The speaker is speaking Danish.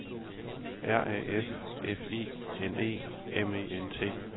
R A F F I N E M E N T